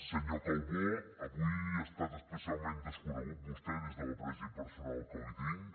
senyor calbó avui ha estat especialment desconegut vostè des de l’afecte personal que li tinc